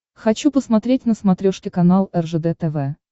хочу посмотреть на смотрешке канал ржд тв